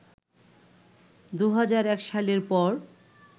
২০০১ সালের পর